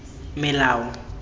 melao